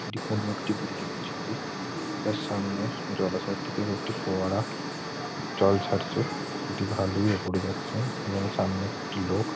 এটি কোন একটি বিল্ডিং এর ছবি যার সামনে জলাশয় দিয়ে একটি ফোয়ারা জল ছাড়ছে এটি ভালোই ওপরে যাচ্ছে এবং সামনে একটি লোক--